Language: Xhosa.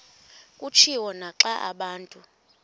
kutshiwo naxa abantu